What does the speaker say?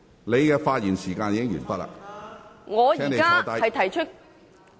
你的發言時間已經完結，請坐下。